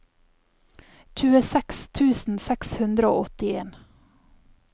tjueseks tusen seks hundre og åttien